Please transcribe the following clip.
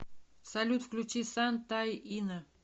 салют включи син ти инна